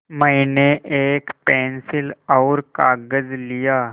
मैंने एक पेन्सिल और कागज़ लिया